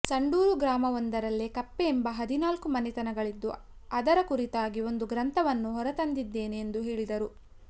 ಸಂಡೂರು ಗ್ರಾಮವೊಂದರಲ್ಲೇ ಕಪ್ಪೆ ಎಂಬ ಹದಿನಾಲ್ಕು ಮನೆತನಗಳಿದ್ದು ಅದರ ಕುರಿತಾಗಿ ಒಂದು ಗ್ರಂಥವನ್ನು ಹೊರತಂದಿದ್ದೇನೆ ಎಂದು ಹೇಳಿದರು